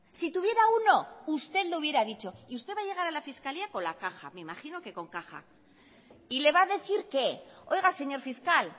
si tuviera uno usted lo hubiera dicho usted va a llegar a la fiscalía con la caja me imagino que con caja y le va a decir qué oiga señor fiscal